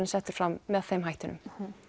er sett fram með þeim hættinum